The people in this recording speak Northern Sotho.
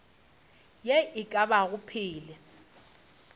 ye e ka bago phela